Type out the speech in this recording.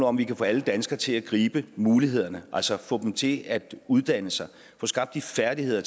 om vi kan få alle danskere til at gribe mulighederne altså få dem til at uddanne sig få skabt de færdigheder